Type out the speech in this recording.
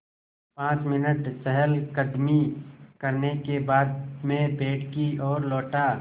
पाँच मिनट चहलकदमी करने के बाद मैं पेड़ की ओर लौटा